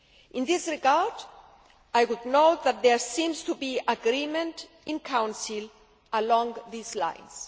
In this regard, I would note that there seems to be agreement in Council along these lines.